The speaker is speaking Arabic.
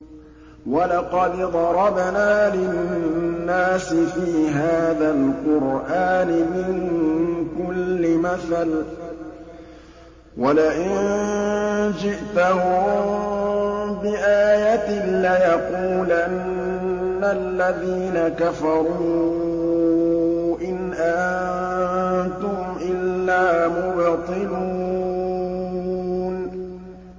وَلَقَدْ ضَرَبْنَا لِلنَّاسِ فِي هَٰذَا الْقُرْآنِ مِن كُلِّ مَثَلٍ ۚ وَلَئِن جِئْتَهُم بِآيَةٍ لَّيَقُولَنَّ الَّذِينَ كَفَرُوا إِنْ أَنتُمْ إِلَّا مُبْطِلُونَ